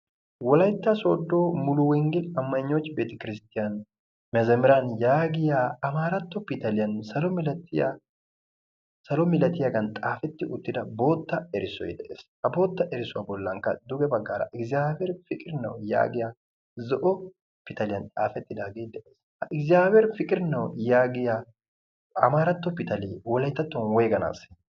Wolaytta sooddo muluwenggele amaygnoch beete kiristtiyan mezemeran yaagiya amaaratto pitaliyan salo milatiyagan xaafetti uttida bootta erissoy beettees. Ha bootta erissuwa bollankka duge baggaara igiziyabiheer piqir nawu yaagiya zo'o pitaliyan xaafettidaagee de'ees. Ha igiziyabiheer piqir nawu yaagiya amaaratto pitalee wolayttattuwan woyganaassee?